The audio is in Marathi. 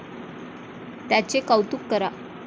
त्याचे कौतुक करा.